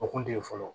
O kun tɛ ye fɔlɔ